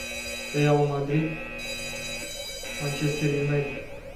реал мадрид манчестер юнайтед